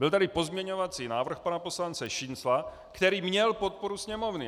Byl tady pozměňovací návrh pana poslance Šincla, který měl podporu Sněmovny.